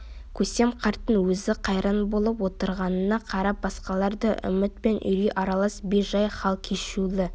көсем қарттың өзі қайран болып отырғанына қарап басқалар да үміт пен үрей аралас бей-жай хал кешулі